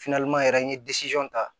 yɛrɛ n ye ta